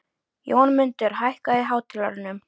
Jónmundur, hækkaðu í hátalaranum.